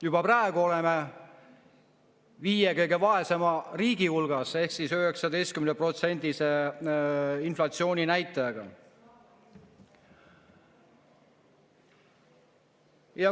Juba praegu oleme viie kõige vaesema riigi hulgas ehk 19%-lise inflatsiooni näitajaga.